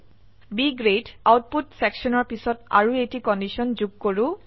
B grade output সেকশনৰ পিছত আৰু এটি কন্ডিশন যোগ কৰো